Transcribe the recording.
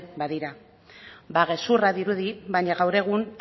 badira ba gezurra dirudi baina gaur egun